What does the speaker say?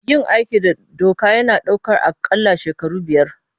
Yin aiki da doka yana ɗaukar aƙalla shekaru biyar.